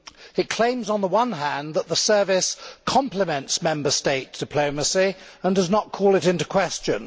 It claims, on the one hand, that the service complements Member State diplomacy and does not call it into question.